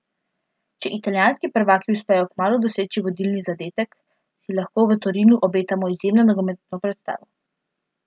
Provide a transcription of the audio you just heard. Če italijanski prvaki uspejo kmalu doseči vodilni zadetek, si lahko v Torinu obetamo izjemno nogometno predstavo.